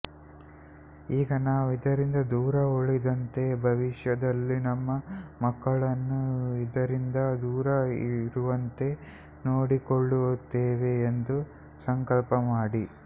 ಈಗ ನಾವು ಇದರಿಂದ ದೂರ ಉಳಿದಂತೆ ಭವಿಷ್ಯದಲ್ಲಿ ನಮ್ಮ ಮಕ್ಕಳನ್ನು ಇದರಿಂದ ದೂರ ಇರುವಂತೆ ನೋಡಿಕೊಳ್ಳುತ್ತೇವೆ ಎಂದು ಸಂಕಲ್ಪ ಮಾಡಿ